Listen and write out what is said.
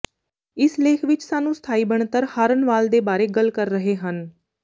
ਇਸ ਲੇਖ ਵਿਚ ਸਾਨੂੰ ਸਥਾਈ ਬਣਤਰ ਹਾਰਨ ਵਾਲ ਦੇ ਬਾਰੇ ਗੱਲ ਕਰ ਰਹੇ ਹਨ